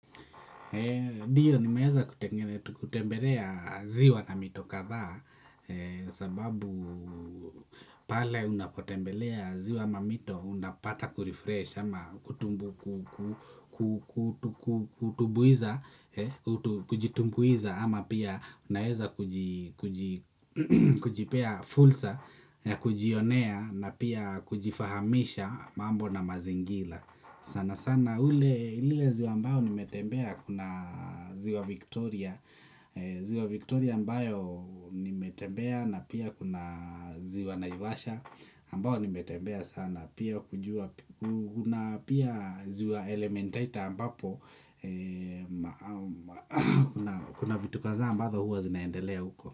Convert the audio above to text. Ndiyo nimeweza kutembelea ziwa na mito kadhaa sababu pale unapotembelea ziwa na mito unapata kurefresh ama kutumbuiza kujitumbuiza ama pia unaeza kujipea fursa ya kujionea na pia kujifahamisha mambo na mazingila. Sana sana ule ziwa ambayo nimetembea kuna ziwa Victoria ziwa Victoria ambayo nimetembea na pia kuna ziwa naivasha ambayo nimetembea sana pia kujua kuna pia ziwa elementaita ambapo kuna vitu kadhaa ambazo huwa zinaendelea huko.